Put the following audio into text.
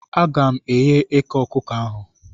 Aga m eghe eke okuko ahu